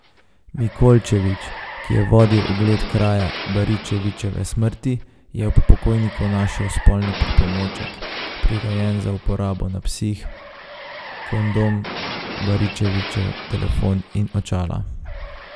Mikolčević, ki je vodil ogled kraja Baričevičeve smrti, je ob pokojniku našel spolni pripomoček, prirejen za uporabo na psih, kondom, Baričevičev telefon in očala.